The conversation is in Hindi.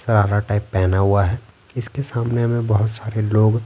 सरारा टाइप पहना हुआ है इसके सामने हमें बहुत सारे लोग--